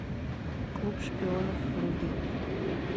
клуб шпионов вруби